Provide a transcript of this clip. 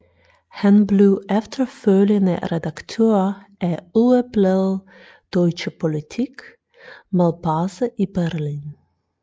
Han blev efterfølgende redaktør af ugebladet Deutsche Politik med base i Berlin